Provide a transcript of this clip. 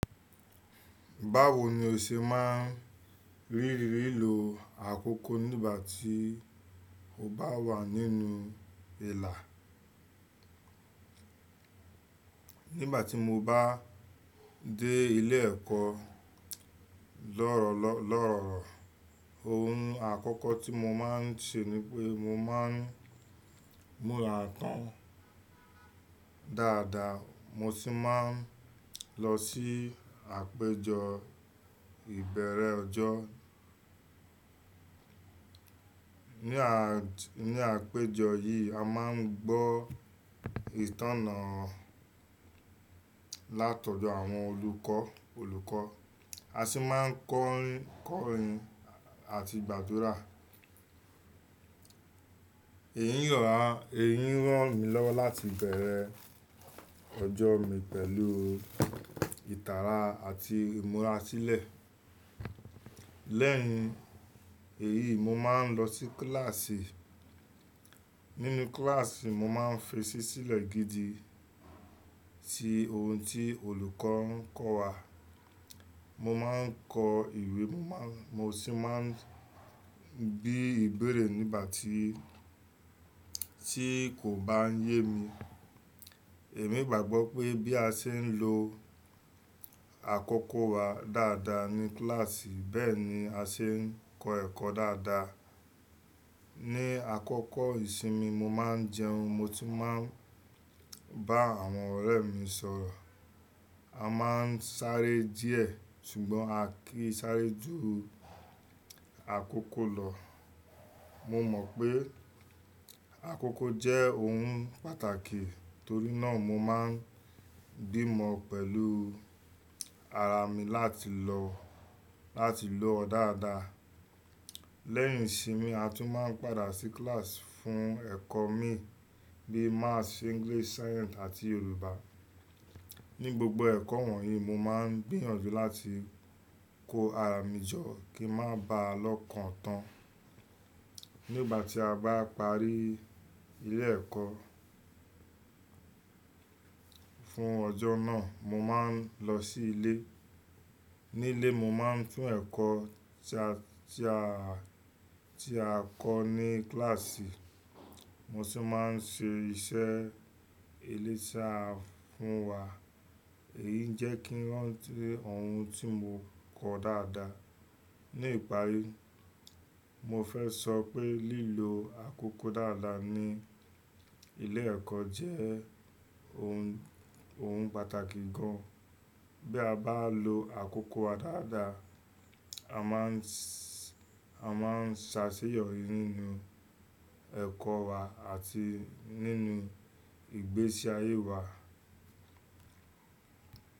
Báwo ni o ṣe máa ń ríri lílo àkókò nígbà tí o bá wà nínú ìlà? Nígbà tí mo bá dé ilé ẹ̀kọ́ lọ́ ọrọ́, ohun àkọ́kọ́ tí mo máa ń ṣe ni pé mo máa ń múra tán dáadáa mo sì máa ń lọ sí àpéjọ ìbẹ̀rẹ̀ ọjọ́. Ní àpéjọ yìí, a máa ń gbọ́ ìtánná látodo àwọn olùkọ́, a sì máa ń kọrin àti gbàdúrà. Èyí rán mi lọ́wọ́ láti bẹ̀rẹ̀ ọjọ́ mi pẹ̀lú ìtara àti ìmúra sílẹ̀. Lẹ́yìn èyí, mo máa ń lọ sí kílàsì. Nínú kílàsì, mo máa ń fèsì sílẹ̀ gidi sí ohun tí olùkọ́ ń kọ́ wa. Mo máa ń kọ ìwé mo sì máa ń bí ìbéèrè nígbà tí tí kò bá yé mi. Èmi gbàgbọ́ pé bí a ṣe ń lo àkókò wa dáadáa ní kílàsì bẹ́ẹ̀ ni a ṣe ń kọ́ ẹ̀kọ́ dáadáa. Ni àkọ́kọ́ ìsinmi, mo máa ń jẹun, mo tún máa ń bá àwọn ọ̀rẹ́ mi sọ̀rọ̀. A máa ń sáré díẹ̀ ṣùgbọ́n a kì í sáré ju àkókò lọ. Mo mọ̀ pé àkókò jẹ́ ohun pàtàkì torí náà mo máa ń bímọ pẹ̀lú ara mi láti lò ó dáadáa. Lẹ́yìn ìsinmi a tún máa ń padà sí kílàsì fún ẹ̀kọ́ mi bí i Maths, English, Science àti Yorùbá. Ni gbogbo ẹ̀kọ́ wọ̀nyí mo máa ń gbìyànjú láti kó ara mi jọ kí ń má ba à lọ́kan tán. Nígbà tí a bá parí ilé ẹ̀kọ́ fún ọjọ́ náà, mo máa ń lọ sí ilé. Ní ilé, mo máa ń fún ẹ̀kọ́ ti a ti a tí a kọ́ ní kílàsì, mo sì máa ń ṣe iṣẹ́ eyi ti a fún wa. Èyí ń jẹ́ kí rántí ohun tí mo kọ dáadáa. Ni ìparí, mo fẹ́ sọ pé lílo àkókò dáadáa ní ilé ẹ̀kọ́ jẹ́ ohun, ohun pàtàkì gan. Bí a bá lo àkókò wa dáadáa, a máa ṣàṣeyọrí nínú ẹ̀kọ́ wa àti nínú ìgbésí ayé wa.